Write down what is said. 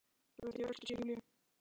Fleygði því yfir öxl sér til Júlíu.